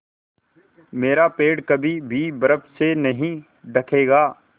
मेरा पेड़ कभी भी बर्फ़ से नहीं ढकेगा